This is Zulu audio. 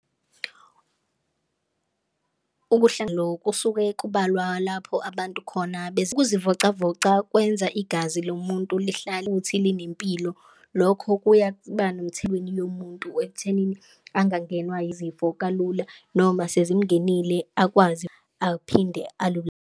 Kusuke kubalwa lapho abantu khona ukuzivocavoca kwenza igazi lomuntu lihlale futhi linempilo lokho kuya yomuntu ekuthenini angangenwa yizifo kalula noma sezimngenile akwazi aphinde .